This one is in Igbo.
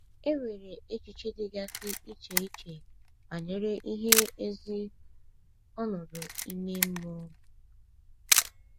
E nwere echiche dịgasị iche iche banyere ihe ezi ọnọdụ ime mmụọ bụ.